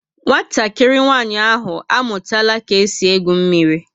Nwatakịrị nwanyị ahụ amụtara ka e si egwu mmírí